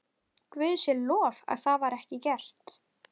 Guði sé lof að það var ekki gert.